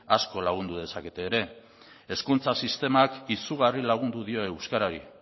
asko lagundu dezakete ere hezkuntza sistemak izugarri lagundu dio euskarari